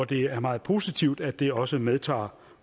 det er meget positivt at det også medtager